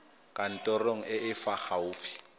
kantorong e e fa gaufi